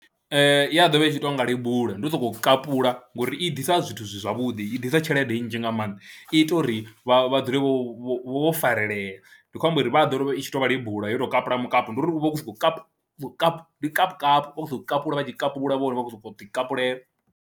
Ee, ya tshi ḓo vha i tshi tou nga lebula, ndi u sokou kapula ngori i ḓisa zwithu zwi zwavhuḓi, i ḓisa tshelede nnzhi nga maanḓa, i ita uri vha vha dzule vho vho farelela ndi khou amba uri vha ḓo ri i tshi tou vha lebula yo tou kalula mukapu ndi uri u vha u khou sokou kapu kapu, ndi kapu kapu vha tshi kupula vhone vha khou sokou ḓikapulela.